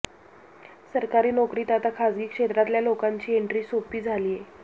सरकारी नोकरीत आता खासगी क्षेत्रातल्या लोकांची एन्ट्री सोपी झालीय